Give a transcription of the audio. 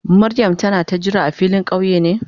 Mariam tana ka jira a filin kauye ne?